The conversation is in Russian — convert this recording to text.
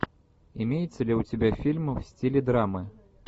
имеется ли у тебя фильм в стиле драмы